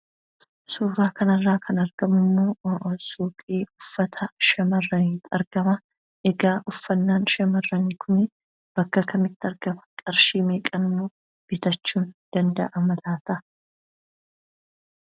Suuraa kana irraa kan argamu suuqii uffata shamarraniiti. Egaa Uffanni shamarranii kunis bakka kamitti argama? qarshii meeqaanis bitama?